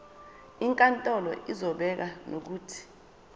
inkantolo izobeka nokuthi